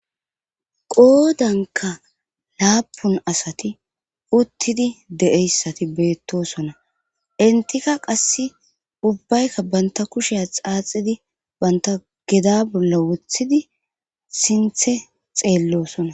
qoodanka laapun asati uttidi de7eyssati beettosona intika qass ubbaykka banta kushiya xaaxidi banta geda bolla wothidi sinthe xeellosona